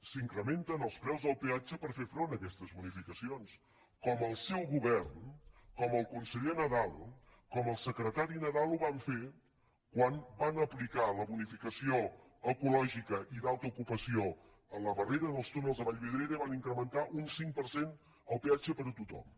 s’incrementen els preus del peatge per fer front a aquestes bonificacions com el seu govern com el conseller nadal com el secretari nadal van fer quan van aplicar la bonificació ecològica i d’alta ocupació a la barrera dels túnels de vallvidrera i van incrementar un cinc per cent el peatge per a tothom